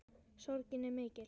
Sorgin er mikill.